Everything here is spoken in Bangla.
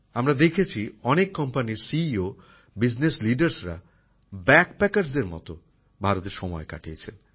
আমরা দেখেছি অনেক কোম্পানির মুখ্য কার্যনির্বাহী আধিকারিক বিজনেস লিডারসরা ব্যাদ প্যাকারসদের মত ভারতে সময় কাটিয়েছেন